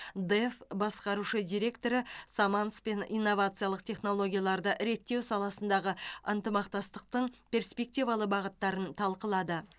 дэф басқарушы директоры саманспен инновациялық технологияларды реттеу саласындағы ынтымақтастықтың перспективалы бағыттарын талқылады